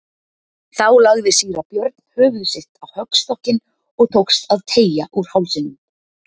Þá lagði síra Björn höfuð sitt á höggstokkinn og tókst að teygja úr hálsinum.